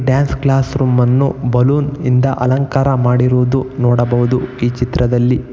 dance class room ಅನ್ನು balloon ನಿಂದ ಅಲಂಕಾರ ಮಾಡಿರುವುದು ನೋಡಬಹುದು ಈ ಚಿತ್ರದಲ್ಲಿ--